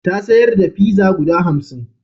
Ya sayar da pizza guda hamsin.